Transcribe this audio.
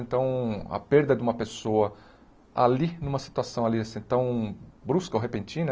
Então, a perda de uma pessoa ali, numa situação ali assim tão brusca ou repentina,